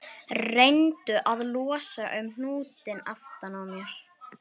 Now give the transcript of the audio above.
Reyndu að losa um hnútinn aftan á mér